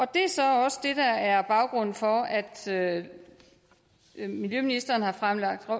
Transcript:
det er så også det der er baggrunden for at at miljøministeren har fremsat et